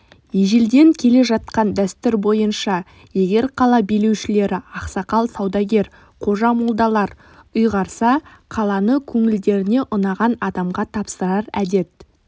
ежелден келе жатқан дәстүр бойынша егер қала билеушілері ақсақал саудагер қожа-молдалар ұйғарса қаланы көңілдеріне ұнаған адамға тапсырар әдет